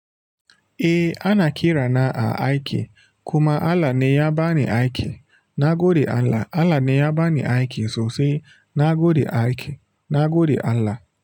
Eh ana kirana a aikin kuma Allah ne yabani aikin. Nagode Allah Allah ne ya bani aiki sosai na gode aiki, na gode Allah.